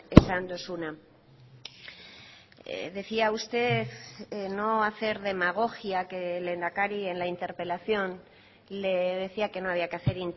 esan duzuna decía usted no hacer demagogia que el lehendakari en la interpelación le decía que no había que hacer